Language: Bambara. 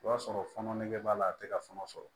O b'a sɔrɔ fɔɔnɔ nege b'a la a tɛ ka sɔngɔn sɔrɔ